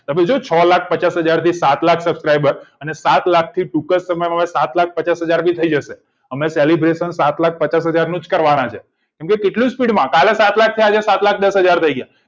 જોજો છ લાખ પચાસ હજાર થી સાત લાખ પચાસ હજાર અને સાત લાખ પચાસ હજાર થી તી જશે અમે celebration સાત લાખ પચાસ હજારનું કરવાનું અને કેટલી speed માં કાલે સાત છ હજાર અને સાત લાખ દશ હજાર થઈ ગયા